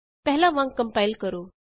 ਪਹਿਲਾਂ ਵਾਂਗ ਕੰਪਾਇਲ ਕਰੋ